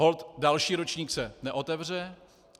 Holt další ročník se neotevře.